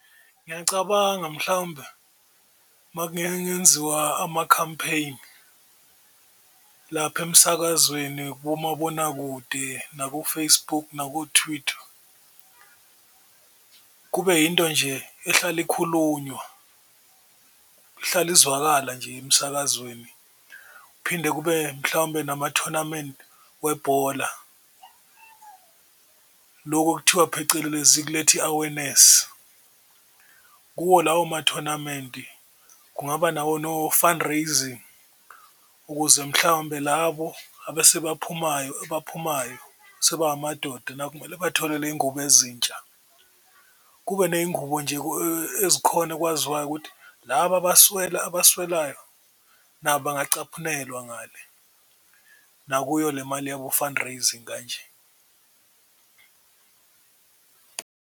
Ngiyacabanga mhlawumbe amakhampeyini lapha emsakazweni, kumabonakude, nako-Facebook, nako-Twitter kube yinto nje ehlale ikhulunywa, ehlala izwakala nje emsakazweni, kuphinde kube mhlawumbe namathonamenti webhola lokhu okuthiwa phecelezi kuletha i-awareness. Kuwo lawo mathonamenti kungaba nawo no-fundraising ukuze mhlawumbe labo abesebaphumayo abaphumayo sebe amadoda nabo kumele bathole zingubo ezintsha, kube neyingubo nje ezikhona ekwaziwayo ukuthi laba abaswelayo bangacaphunelwa ngale nakuyo le mali yabo fundraising kanje.